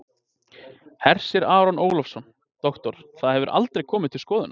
Hersir Aron Ólafsson: Doktor, það hefur aldrei komið til skoðunar?